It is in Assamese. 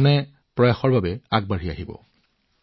এনে প্ৰচেষ্টাত অধিক লোক আগবাঢ়ি আহিব